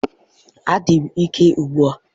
Adị m ike ugbu a